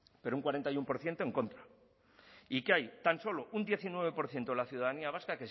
pero un cuarenta y uno por ciento en contra y que hay tan solo un diecinueve por ciento de la ciudadanía vasca